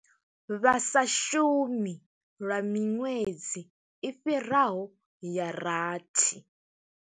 Vha sa shumi lwa miṅwedzi i fhiraho ya rathi.